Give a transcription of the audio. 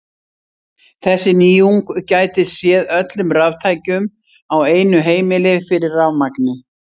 Þessi nýjung gæti séð öllum raftækjum á einu heimili fyrir rafmagni.